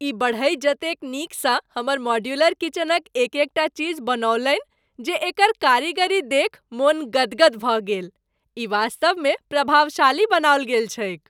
ई बढ़इ जतेक नीकसँ हमर मॉड्यूलर किचनक एक एकटा चीज बनौलनि जे एकर कारीगरी देखि मन गदगद भऽ गेल। ई वास्तवमे प्रभावशाली बनाओल गेल छैक।